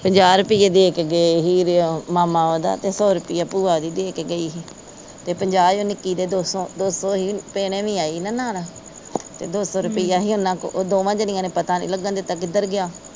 ਪੰਜਾਹ ਰੁਪਈਏ ਦੇ ਕੇ ਗਿਆ ਹੀ ਮਾਮਾ ਓਦਾਂ ਤੇ ਸੌ ਰੁਪਿਆਂ ਭੂਆ ਓਦੀ ਦੇ ਕੇ ਗਈ ਹੀ ਤੇ ਪੰਜਾਹ ਈ ਉਹ ਨਿੱਕੀ ਦੇ ਦੋ ਸੌ, ਦੋ ਸੌ ਹੀ ਭੈਣ ਵੀ ਆਈ ਹੀ ਨਾ ਨਾਲ ਤੇ ਦੋ ਸੌ ਰੁਪਈਆ ਹੀ ਓਹਨਾ ਕੋ ਉਹ ਦੋਵਾਂ ਜਾਣੀਆ ਨੇ ਪਤਾ ਨਹੀਂ ਲੱਗਣ ਦਿੱਤਾ ਕਿੱਧਰ ਗਿਆ।